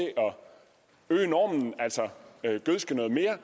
øge normen altså gødske noget mere